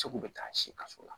Segu bɛ taa si faso la